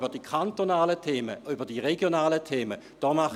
Allerdings mache ich mir wegen den kantonalen und regionalen Themen Sorgen.